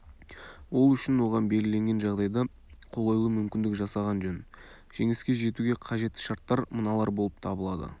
ол үшін оған белгіленген жағдайда қолайлы мүмкіндік жасаған жөн жеңіске жетуге қажетті шарттар мыналар болып табылады